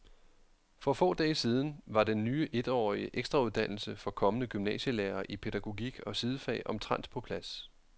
For få dage siden var den ny etårige ekstrauddannelse for kommende gymnasielærere i pædagogik og sidefag omtrent på plads.